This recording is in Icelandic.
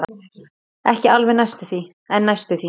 Ekki alveg en næstum því.